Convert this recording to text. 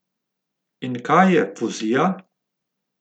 In kaj je fuzija?